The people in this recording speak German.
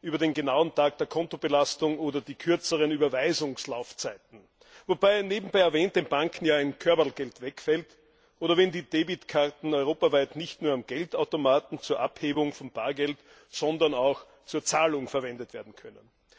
über den genauen Tag der Kontobelastung oder die kürzeren Überweisungslaufzeiten wobei nebenbei erwähnt den Banken ja ein Körberlgeld wegfällt oder die Tatsache, dass die Kreditkarten europaweit nicht nur am Geldautomaten zur Abhebung von Bargeld, sondern auch zur Zahlung verwendet werden können.